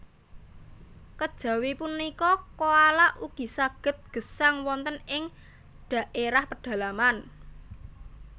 Kejawi punika koala ugi saged gesang wonten ing dhaérah pedalaman